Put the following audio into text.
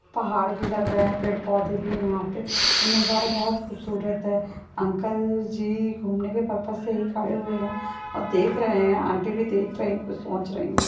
पहाड़ भी लग रहे है पेड़ पौधे भी है यहा पे नजारा बहुत खूब सूरत है अंकल जी घूमने के पर्पस से खड़े हुए है और देख रहे है आंटी भी देख रही है कुछ सोच रही है।